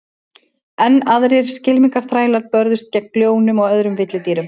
Enn aðrir skylmingaþrælar börðust gegn ljónum og öðrum villidýrum.